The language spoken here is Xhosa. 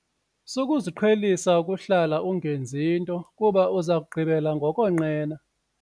Sukuziqhelisa ukuhlala ungenzi nto kuba uza kugqibela ngokonqena.